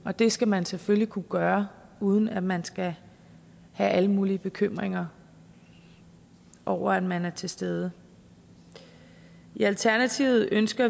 og det skal man selvfølgelig kunne gøre uden at man skal have alle mulige bekymringer over at man er til stede i alternativet ønsker